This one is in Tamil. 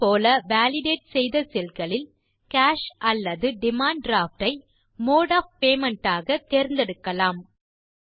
இதே போல வாலிடேட் செய்த செல் களில் காஷ் அல்லது டிமாண்ட் டிராஃப்ட் ஐ மோடு ஒஃப் பேமெண்ட் ஆக தேர்ந்தெடுக்கலாம்